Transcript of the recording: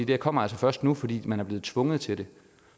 her kommer altså først nu fordi man er blevet tvunget til det